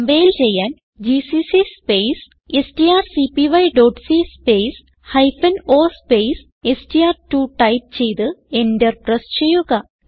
compile ചെയ്യാൻ GCC space strcpyസി space hyphen o space എസ്ടിആർ2 ടൈപ്പ് ചെയ്ത് എന്റർ പ്രസ് ചെയ്യുക